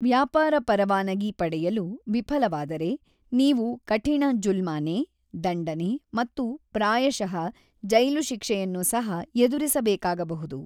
ವ್ಯಾಪಾರ ಪರವಾನಗಿ ಪಡೆಯಲು ವಿಫಲವಾದರೆ ನೀವು ಕಠಿಣ ಜುಲ್ಮಾನೆ, ದಂಡನೆ ಮತ್ತು ಪ್ರಾಯಶಃ ಜೈಲು ಶಿಕ್ಷೆಯನ್ನು ಸಹ ಎದುರಿಸಬೇಕಾಗಬಹುದು.